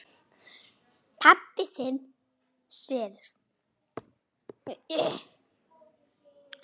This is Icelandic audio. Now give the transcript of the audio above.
Pabbi þinn sefur.